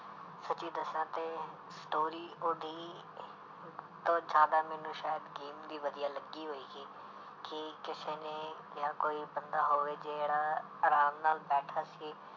ਸੱਚੀ ਦੱਸਾਂ ਤੇ story ਉਹਦੀ ਜ਼ਿਆਦਾ ਮੈਨੂੰ ਸ਼ਾਇਦ game ਦੀ ਵਧੀਆ ਲੱਗੀ ਹੋਏਗੀ ਕਿ ਕਿਸੇ ਨੇ ਜਾਂ ਕੋਈ ਬੰਦਾ ਹੋਵੇ ਜਿਹੜਾ ਆਰਾਮ ਨਾਲ ਬੈਠਾ ਸੀ,